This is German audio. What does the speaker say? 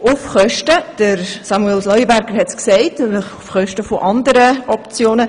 Dies –wie Samuel Leuenberger ausgeführt hat – auf Kosten von anderen Optionen.